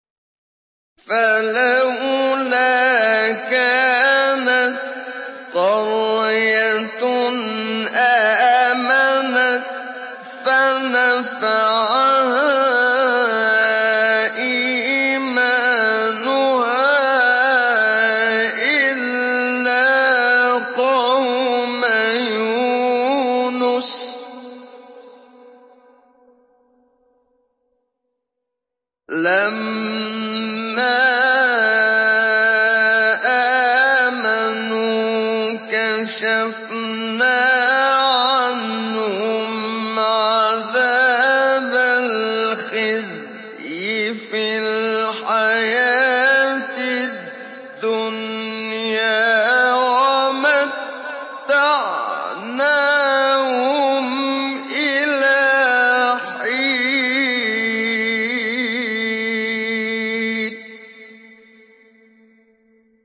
فَلَوْلَا كَانَتْ قَرْيَةٌ آمَنَتْ فَنَفَعَهَا إِيمَانُهَا إِلَّا قَوْمَ يُونُسَ لَمَّا آمَنُوا كَشَفْنَا عَنْهُمْ عَذَابَ الْخِزْيِ فِي الْحَيَاةِ الدُّنْيَا وَمَتَّعْنَاهُمْ إِلَىٰ حِينٍ